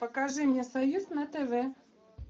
покажи мне союз на тв